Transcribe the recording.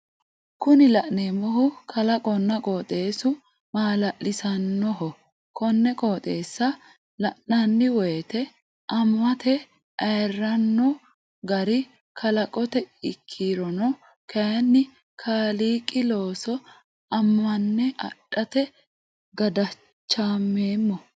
Kuni la'neemohu kalaqonna qoxeessu mala'lisannoho konne qoxeessa la'nanni woyiite ammate ayranno gari kalaqooti ikkirono kayiinni kaliiqi looso ammanne adhate gadachameemmo.